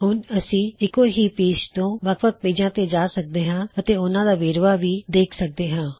ਹੁਣ ਅਸੀ ਇੱਕੋ ਹੀ ਪੇਜ ਤੋਂ ਵੱਖ ਵੱਖ ਪੇਜਾਂ ਤੇ ਜਾ ਸਕਦੇ ਹਾ ਅਤੇ ੳਹਨਾਂ ਦਾ ਵੇਰਵਾ ਵੀ ਦੇਖ ਸਕਦੇ ਹਾਂ